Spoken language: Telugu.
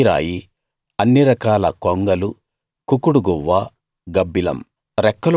కొక్కిరాయి అన్ని రకాల కొంగలు కుకుడు గువ్వ గబ్బిలం